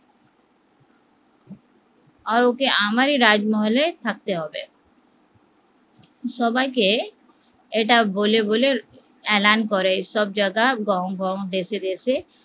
আর ওকে আমারই রাজমহলে থাকতে হবে, সবাইকে এটা বলে বলে এলান করে সবজাগা গাও গাও দেশে দেশে